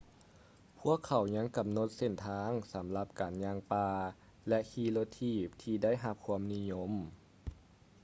ພວກເຂົາຍັງກຳນົດເສັ້ນທາງສຳລັບການຍ່າງປ່າ ແລະ ຂີ່ລົດຖີບທີ່ໄດ້ຮັບຄວາມນິຍົມ